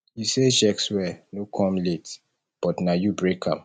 you say sjexwe no come late but na you break am